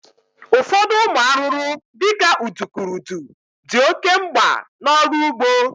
Ụfọdụ ụmụ arụrụ di ka udukurudu di oke mgba n'ọrụ ugbo